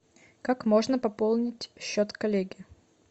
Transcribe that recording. как можно пополнить счет коллеги